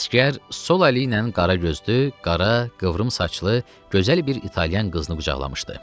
Əsgər sol əli ilə qara gözlü, qara qıvrım saçlı gözəl bir İtalyan qızını qucaqlamışdı.